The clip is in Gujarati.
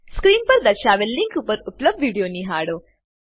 સ્ક્રીન પર દર્શાવેલ લીંક પર ઉપલબ્ધ વિડીયો નિહાળો